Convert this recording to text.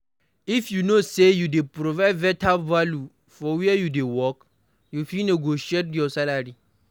if you know sey you dey provide better value for where you dey work, you fit negotiate your salary